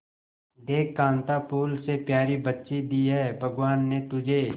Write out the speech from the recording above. देख कांता फूल से प्यारी बच्ची दी है भगवान ने तुझे